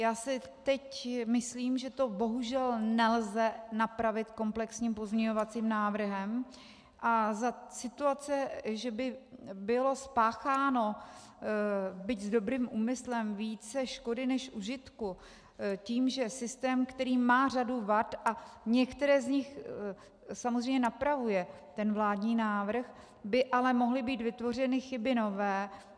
Já si teď myslím, že to bohužel nelze napravit komplexním pozměňovacím návrhem a za situace, že by bylo spácháno, byť s dobrým úmyslem, více škody než užitku tím, že systém, který má řadu vad a některé z nich samozřejmě napravuje ten vládní návrh, by ale mohly být vytvořeny chyby nové.